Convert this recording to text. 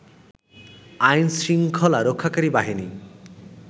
আইন-শৃঙ্খলা রক্ষাকারী বাহিনী